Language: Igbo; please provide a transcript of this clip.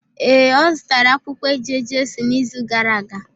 Ee, o zutara akwukwo eje-Jesu n’izu gara aga.